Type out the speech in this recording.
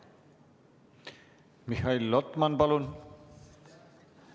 Mihhail Lotman, palun!